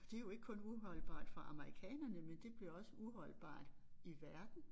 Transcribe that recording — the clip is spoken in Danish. Det jo ikke kun uholdbart for amerikanerne men det bliver også uholdbart i verden